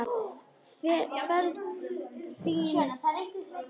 Ferð fínt í það.